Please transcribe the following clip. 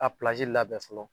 A labɛn fɔlɔ